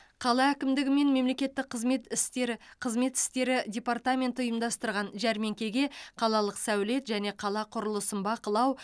қала әкімдігі мен мемлекеттік қызмет істері қызмет істері департаменті ұйымдастырған жәрмеңкеге қалалық сәулет және қала құрылысын бақылау